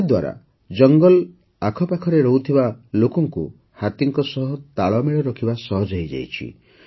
ଏହାଦ୍ୱାରା ଜଙ୍ଗଲ ଆଖପାଖରେ ରହୁଥିବା ଲୋକଙ୍କୁ ହାତୀଙ୍କ ସହ ତାଳମେଳ ରଖିବା ସହଜ ହୋଇଯାଇଛି